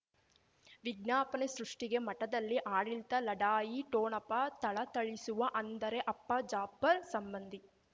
ವಿಜ್ಞಾಪನೆ ಸೃಷ್ಟಿಗೆ ಮಠದಲ್ಲಿ ಆಡಳಿತ ಲಢಾಯಿ ಠೊಣಪ ಥಳಥಳಿಸುವ ಅಂದರೆ ಅಪ್ಪ ಜಾಪರ್ ಸಂಬಂಧಿ